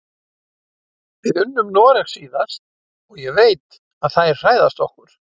Við unnum Noreg síðast og ég veit að þær hræðast okkur.